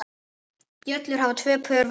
Bjöllur hafa tvö pör vængja.